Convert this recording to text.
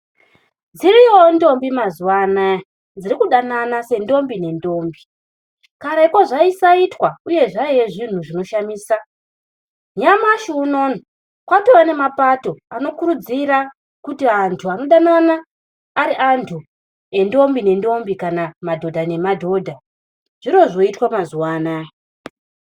Dziriyowo ndombi mazuva anaya dzirikudanana sendombi nendombi, kareko zvaisaitwa uye zvaiva zvinhu zvaishamisa . Nyamashi unowu kwatova nemapato anokurudzira kuti antu anofana ari ndombi nendombi kana madhodha nemadhodha ,zviri zvoitwa mazuva anaya.